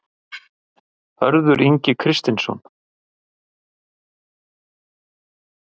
Hörður Ingi Kristinsson